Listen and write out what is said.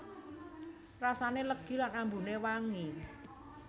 Rasané legi lan ambuné wangi